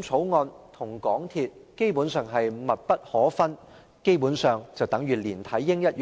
草案》與港鐵公司基本上是密不可分的"連體嬰"，亦猶